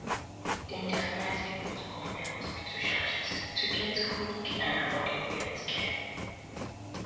dem dey advise people to compare hospital charges to get quick and affordable healthcare